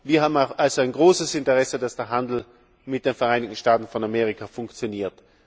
Wir haben also ein großes Interesse, dass der Handel mit den Vereinigten Staaten von Amerika funktioniert.